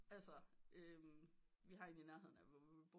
Altså vi har en i nærheden af hvor vi bor